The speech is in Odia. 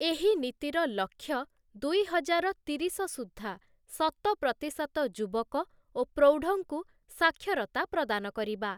ଏହି ନୀତିର ଲକ୍ଷ୍ୟ ଦୁଇହଜାର ତିରିଶ ସୁଦ୍ଧା ଶତପ୍ରତିଶତ ଯୁବକ ଓ ପ୍ରୌଢ଼ଙ୍କୁ ସାକ୍ଷରତା ପ୍ରଦାନ କରିବା ।